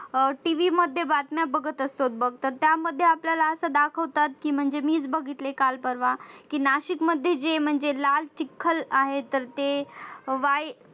अह TV मध्ये बातम्या बघत असतो बघ त्यामध्ये दाखवतात की म्हणजे मीच बघितले काल परवा की नाशिक मध्ये जे लाल चिखल आहे तर ते Y